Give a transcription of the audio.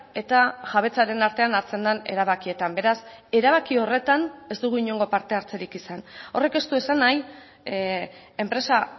eta jabetzaren artean hartzen den erabakietan beraz erabaki horretan ez dugu inongo parte hartzerik izan horrek ez du esan nahi enpresa